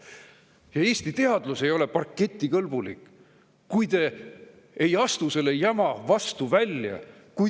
Ja Eesti teadus ei ole parketikõlbulik, kui te ei astu selle jama vastu välja.